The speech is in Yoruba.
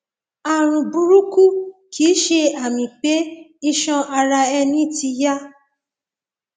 ààrùn burúkú kìí ṣe àmì pé iṣan ara ẹni ti ya